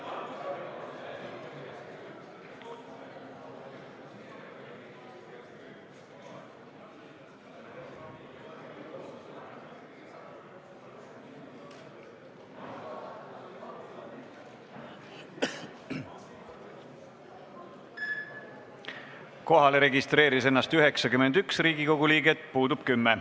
Kohaloleku kontroll Kohalolijaks registreeris ennast 91 Riigikogu liiget, puudub 10.